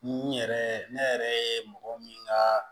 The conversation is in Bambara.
N yɛrɛ ne yɛrɛ ye mɔgɔ min ka